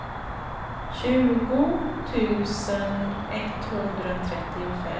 tjugo tusen etthundratrettiofem